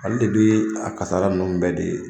Ale de dun ye a kassara ninnu bɛɛ de ye.